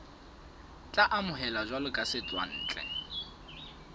tla amohelwa jwalo ka setswantle